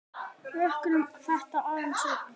Rokkum þetta aðeins upp!